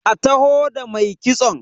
a taho da mai kitson!